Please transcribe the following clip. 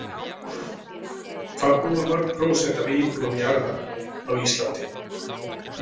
Hvað búa mörg prósent af íbúum jarðar á Íslandi?